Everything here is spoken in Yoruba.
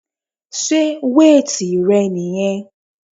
Sé weight rẹ niyẹn?